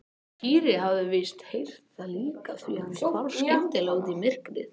Týri hafði víst heyrt það líka því hann hvarf skyndilega út í myrkrið.